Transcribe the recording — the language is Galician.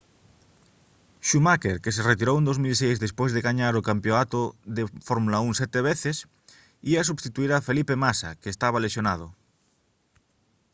schumacher que se retirou en 2006 despois de gañar o campionato de fórmula 1 sete veces ía substituír a felipe massa que estaba lesionado